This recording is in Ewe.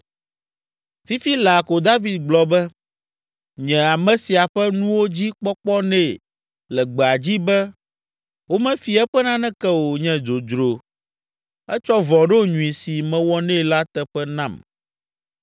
Fifi laa ko David gblɔ be, “Nye ame sia ƒe nuwo dzi kpɔkpɔ nɛ le gbea dzi be womefi eƒe naneke o nye dzodzro. Etsɔ vɔ̃ ɖo nyui si mewɔ nɛ la teƒe nam.